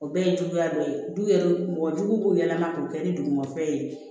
O bɛɛ ye juguya dɔ ye du yɛrɛ mɔgɔ jugu b'u yɛlɛma k'o kɛ ni dugumafɛn ye